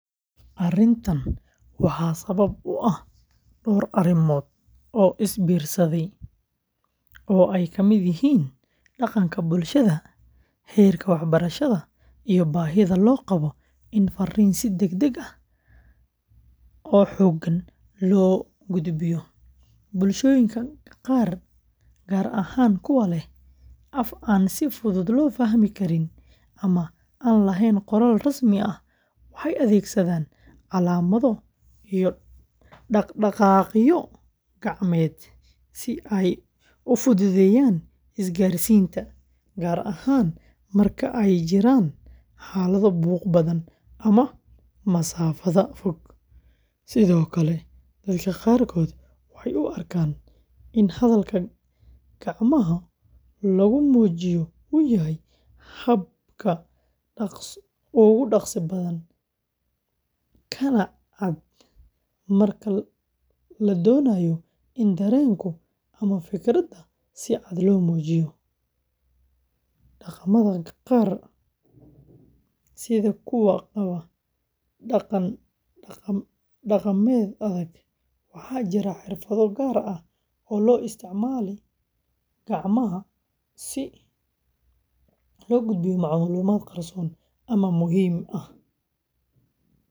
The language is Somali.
Arrintan waxaa sabab u ah dhowr arrimood oo isbiirsaday, oo ay ka mid yihiin dhaqanka bulshada, heerka waxbarashada, iyo baahida loo qabo in fariin si degdeg ah oo xooggan loo gudbiyo. Bulshooyinka qaar, gaar ahaan kuwa leh af aan si fudud loo fahmi karin ama aan lahayn qoraal rasmi ah, waxay adeegsadaan calaamado iyo dhaqdhaqaaqyo gacmeed si ay u fududeeyaan isgaarsiinta, gaar ahaan marka ay jiraan xaalado buuq badan ama masaafada fog. Sidoo kale, dadka qaarkood waxay u arkaan in hadalka gacmo lagu muujiyo uu yahay hab ka dhaqso badan, kana cad marka la doonayo in dareenka ama fikradda si cad loo muujiyo. Dhaqamada qaar, sida kuwa qaba dhaqan dhaqameed adag, waxaa jira xirfado gaar ah oo loo isticmaalo gacmaha si loo gudbiyo macluumaad qarsoon ama muhiim ah.